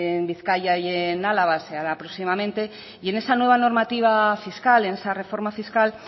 en bizkaia y en álava se hará próximamente y en esa nueva normativa fiscal en esa reforma fiscal